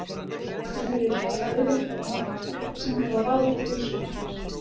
Góðu fréttirnar eru þær að auðvelt er að nálgast upplýsingar og ráð til heilsubótar.